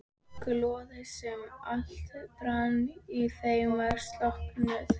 Glóðin sem alltaf brann í þeim var slokknuð.